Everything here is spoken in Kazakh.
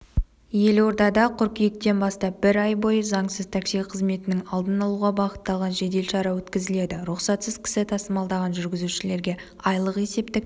елордада қыркүйектен бастап бір ай бойы заңсыз такси қызметінің алдын алуға бағытталған жедел шара өткізіледі рұқсатсыз кісі тасымалдаған жүргізушілерге айлық есептік